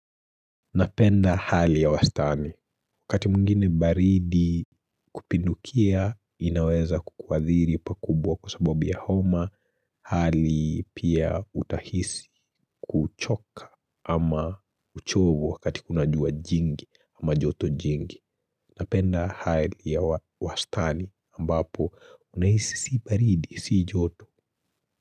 Napenda hali ya wastani wakati mwingine baridi kupindukia inaweza kukuadhiri pa kubwa kwa sababu ya homa hali pia utahisi kuchoka ama uchovu wakati kuna jua jingi ama joto jingi napenda hali ya wastani ambapo unahisi si baridi si joto.